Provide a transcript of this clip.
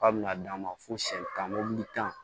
K'a bɛna d'a ma fo siyɛn tan mobili tan